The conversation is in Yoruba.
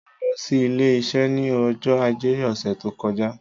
Mo lọ sí ilé iṣẹ́ ní ọjọ́ ajé ọ̀sẹ̀ tó kọjá